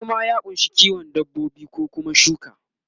noma ya kunsa kiwon dabbobi ko Kuma shuka